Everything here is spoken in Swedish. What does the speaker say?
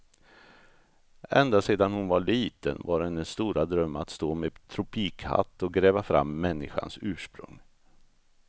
Ända sedan hon var liten var hennes stora dröm att stå med tropikhatt och gräva fram människans ursprung.